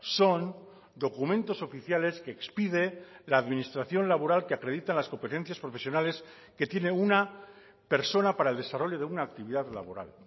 son documentos oficiales que expide la administración laboral que acreditan las competencias profesionales que tiene una persona para el desarrollo de una actividad laboral